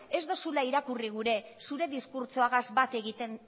ez duzula irakurri gure zure diskurtsoagaz bate egiten